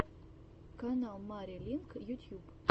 канал мари линк ютьюб